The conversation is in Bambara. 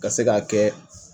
Ka se k'a kɛ